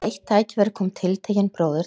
Við eitt tækifæri kom tiltekinn bróðir til